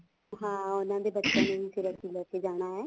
ਹਾਂ ਫ਼ੇਰ ਉਹਨਾ ਦੇ ਬੱਚਿਆਂ ਨੂੰ ਵੀ ਅਸੀਂ ਲੈਕੇ ਜਾਣਾ ਹੈ